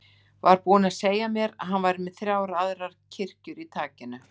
Var búinn að segja mér að hann væri með þrjár aðrar kirkjur í takinu.